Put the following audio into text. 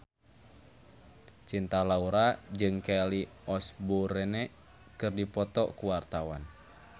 Cinta Laura jeung Kelly Osbourne keur dipoto ku wartawan